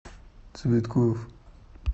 цветкоф